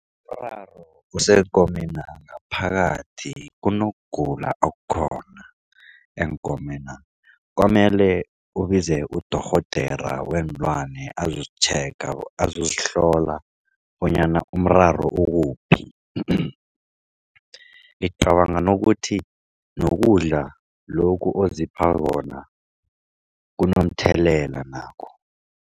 useenkomena ngaphakathi kunokugula okukhona eenkomena. Komele ubize udorhodera weenlwane azozitjhega azozihlola bonyana umraro ukuphi. Ngicabanga nokuthi nokudla lokhu ozipha khona kunomthelela nakho.